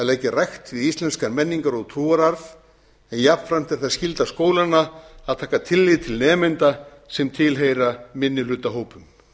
leggja rækt við íslenskan menningar og trúararf en jafnframt er það skylda skólanna að taka tillit til nemenda sem tilheyra minnihlutahópum